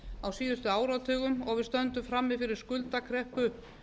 á síðustu áratugum og við stöndum frammi fyrir skuldakreppu